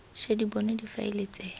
ša di bonwa difaele tse